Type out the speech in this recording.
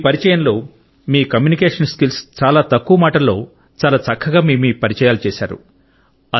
మీ పరిచేయంలో మీ communication skills చాలా తక్కువ మాటల్లో చాలా చక్కగా మీ మీ పరిచయాలు చేశారు